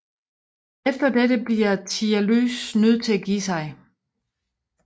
Efter dette bliver Tialys nødt til at give sig